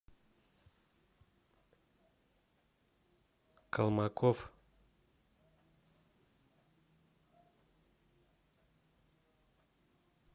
колмаков